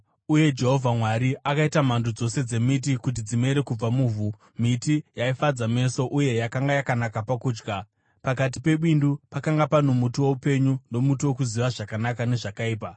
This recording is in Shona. Uye Jehovha Mwari akaita mhando dzose dzemiti kuti dzimere kubva muvhu, miti yaifadza meso uye yakanga yakanaka pakudya. Pakati pebindu pakanga pano muti woupenyu nomuti wokuziva zvakanaka nezvakaipa.